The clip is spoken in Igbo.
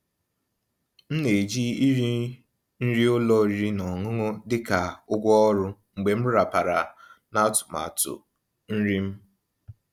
M ná-èjí íri nrí ụ́lọ̀ ọ̀rị́rị́ ná ọ̀ṅụ̀ṅụ̀ dị́ kà ụ̀gwọ́ ọ̀rụ́ mgbe m ràpàrà ná àtụ̀màtụ́ nrí m.